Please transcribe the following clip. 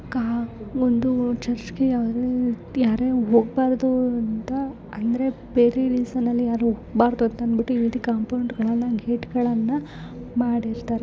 ಒಂದು ಚರ್ಚ್ ಅವರು ಯಾರು ಹೋಗ್ಬಾರ್ದು ಅಂತ ಅಂದ್ರೆ ಬೇರೆ ರೀಸನ್ ಅಲ್ಲಿ ಯಾರು ಹೋಗ್ಬಾರ್ದು ಅಂತ ಅಂದಬಿಟ್ಟು ಈ ರೀತಿ ಕಾಂಪೌಂಡ್ಗ ಳ್ಳನ ಗೇಟ್ಗ ಳ್ಳನ ಮಾಡಿರ್ತಾರೆ .